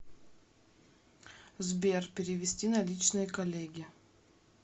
сбер перевести наличные коллеге